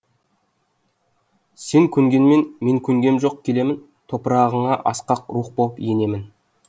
сен көнгенмен мен көнгем жоқ келемін топырағыңа асқақ рух боп енемін